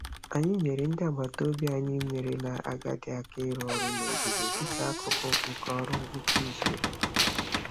Anyị nyeere ndị agbataobi anyị merela agadi aka ịrụ ọrụ n'ogige dị ka akụkụ nke ọrụ ngwụcha izuụka.